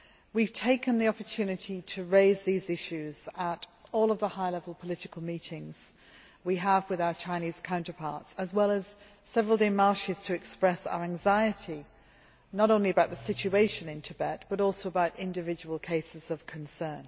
We have taken the opportunity to raise these issues at all of the high level political meetings we have with our Chinese counterparts, as well as making several démarches to express our anxiety not only about the situation in Tibet, but also about individual cases of concern.